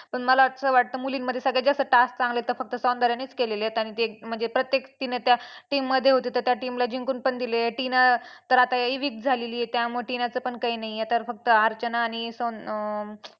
पण मला असं वाटतं मुलींमध्ये सगळ्यात जास्त task चांगले तर फक्त सौंदर्यानेच केलेले आहेत. आणि ते म्हणजे प्रत्येक तिने त्या team मध्ये होती तर त्या team ला जिंकून पण दिलेलं आहे. टिना तर आता weak झालेली आहे त्यामुळे टिनाचं पण काही नाही आहे आता फक्त अर्चना आणि सौं अं